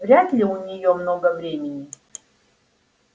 вряд-ли у неё много времени